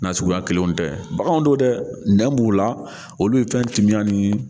Nasuguya kelenw tɛ baganw do dɛ nɛ b'u la olu ye fɛn timiya ni